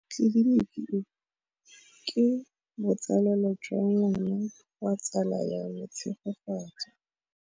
Tleliniki e, ke botsalêlô jwa ngwana wa tsala ya me Tshegofatso.